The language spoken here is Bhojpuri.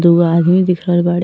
दूगो आदमी दिख रहल बाड़े --